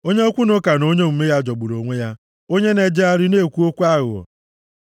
Onye okwu na ụka na onye omume ya jọgburu onwe ya, onye na-ejegharị na-ekwu okwu aghụghọ,